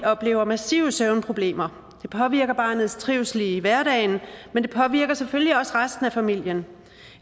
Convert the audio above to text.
oplever massive søvnproblemer det påvirker barnets trivsel i hverdagen men det påvirker selvfølgelig også resten af familien